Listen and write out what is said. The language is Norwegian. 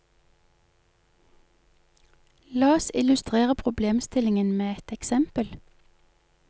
La oss illustrere problemstillingen med et eksempel.